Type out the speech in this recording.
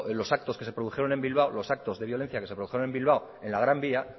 los actos que se produjeron en bilbao los actos de violencia que se produjeron en bilbao en la gran vía